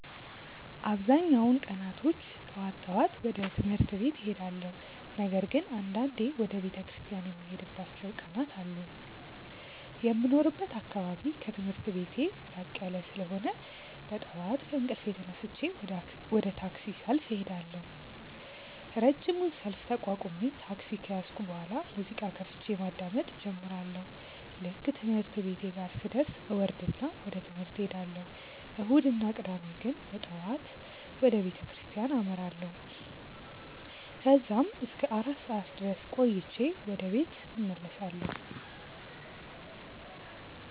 አብዛኛውን ቀናቶች ጠዋት ጠዋት ወደ ትምህርት ቤት እሄዳለሁ። ነገር ግን አንዳንዴ ወደ ቤተክርስቲያን የምሄድባቸው ቀናት አሉ። የሚኖርበት አካባቢ ከትምህርት ቤቴ ራቅ ያለ ስለሆነ በጠዋት ከእንቅልፌ ተነስቼ ወደ ታክሲ ሰልፍ እሄዳለሁ። ረጅሙን ሰልፍ ተቋቁሜ ታክሲ ከያዝኩ በኋላ ሙዚቃ ከፍቼ ማዳመጥ እጀምራለሁ። ልክ ትምህርት ቤቴ ጋር ስደርስ እወርድና ወደ ትምህርት እሄዳለሁ። እሁድ እና ቅዳሜ ግን በጠዋት ወደ ቤተክርስቲያን አመራለሁ። ከዛም እስከ አራት ሰዓት ድረስ ቆይቼ ወደ ቤት እመለሳለሁ።